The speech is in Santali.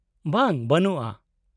-ᱵᱟᱝ, ᱵᱟᱹᱱᱩᱜᱼᱟ ᱾